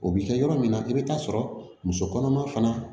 O bi kɛ yɔrɔ min na i bɛ taa sɔrɔ muso kɔnɔma fana